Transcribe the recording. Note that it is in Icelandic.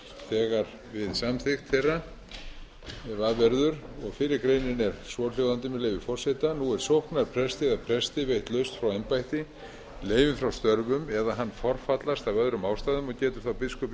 við samþykkt þeirra ef af verður og fyrri greinin er svohljóðandi með leyfi forseta nú er sóknarpresti eða presti veitt lausn frá embætti leyfi frá störfum eða hann forfallast af öðrum ástæðum og getur þá biskup